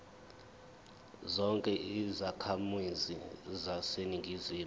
zonke izakhamizi zaseningizimu